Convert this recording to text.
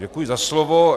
Děkuji za slovo.